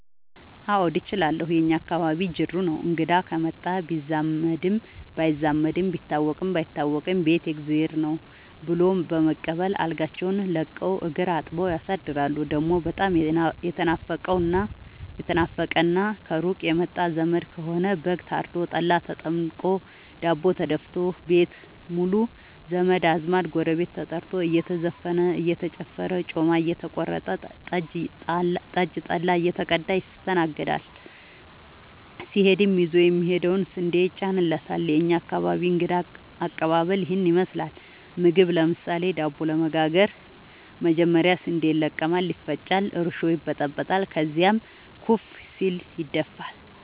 አዎድ እችላለሁ የእኛ አካባቢ ጅሩ ነው። እንግዳ ከመጣ ቢዛመድም ባይዛመድም ቢታወቅም ባይታወቅም ቤት የእግዜር ነው። ብሎ በመቀበል አልጋቸውን ለቀው እግር አጥበው ያሳድራሉ። ደሞ በጣም የተናፈቀና ከሩቅ የመጣ ዘመድ ከሆነ በግ ታርዶ፤ ጠላ ተጠምቆ፤ ዳቦ ተደፋቶ፤ ቤት ሙሉ ዘመድ አዝማድ ጎረቤት ተጠርቶ እየተዘፈነ እየተጨፈረ ጮማ እየተቆረጠ ጠጅ ጠላ እየተቀዳ ይስተናገዳል። ሲሄድም ይዞ የሚሄደው ስንዴ ይጫንለታል። የእኛ አካባቢ እንግዳ ከቀባበል ይህን ይመስላል። ምግብ ለምሳሌ:- ዳቦ ለመጋገር መጀመሪያ ስንዴ ይለቀማል ይፈጫል እርሾ ይበጠበጣል ከዚያም ኩፍ ሲል ይደፋል።